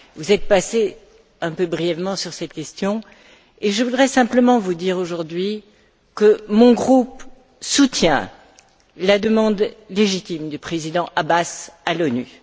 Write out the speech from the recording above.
Vous êtes passée un peu brièvement sur ces questions et je voudrais simplement vous dire aujourd'hui que mon groupe soutient la demande légitime du Président Abbas à l'ONU.